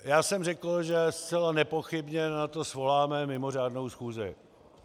Já jsem řekl, že zcela nepochybně na to svoláme mimořádnou schůzi.